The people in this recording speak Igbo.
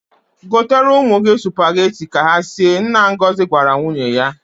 Gotere ụmụ gị sụpageti ka ha sie," nna Ngozi gwara nwunye ya.